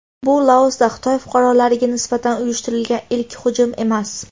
Bu Laosda Xitoy fuqarolariga nisbatan uyushtirilgan ilk hujum emas.